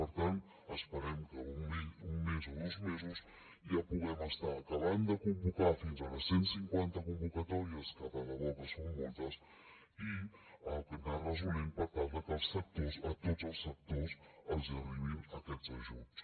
per tant esperem que en un mes o dos mesos ja puguem estar acabant de convocar fins a les cent cinquanta convocatòries que de debò que són moltes i anar resolent per tal de que als sectors a tots els sectors els hi arribin aquests ajuts